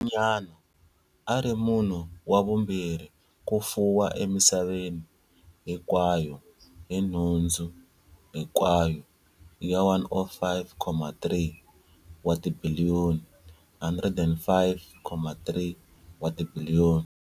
Sweswinyana, a a ri munhu wa vumbirhi ku fuwa emisaveni hinkwayo hi nhundzu hinkwayo ya 105.3 wa tibiliyoni.